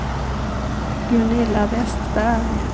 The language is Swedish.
Gunilla Vestberg